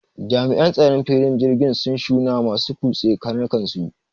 jami'an tsaron filin jirgin sun shunawa masu kutse karnukansu